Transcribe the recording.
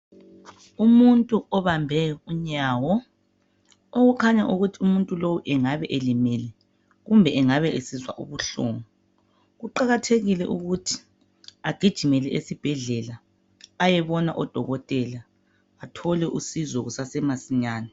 Umuntu obambe unyawo okukhanya ukuthi umuntu lo engabe elimele kumbe engabe esizwa ubuhlungu, kuqakathekile ukuthi agijimele esibhedlela ayebona odokotela athole usizo kusase masinyane.